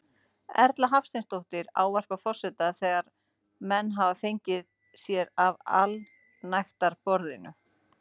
Erla Hafsteinsdóttir ávarpar forseta þegar menn hafa fengið sér af allsnægtaborðinu.